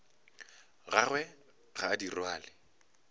gagwe ga a di rwale